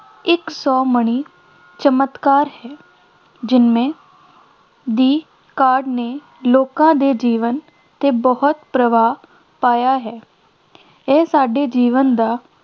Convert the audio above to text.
ਇੱਕ ਸੌਮਣੀ ਚਮਤਕਾਰ ਹੈ ਦੀ ਕਾਢ ਨੇ ਲੋਕਾਂ ਦੇ ਜੀਵਨ 'ਤੇ ਬਹੁਤ ਪ੍ਰਭਾਵ ਪਾਇਆ ਹੈ ਇਹ ਸਾਡੇ ਜੀਵਨ ਦਾ